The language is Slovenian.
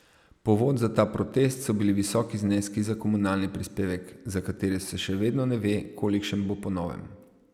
Povod za ta protest so bili visoki zneski za komunalni prispevek, za katere se še vedno ne ve, kolikšen bo po novem.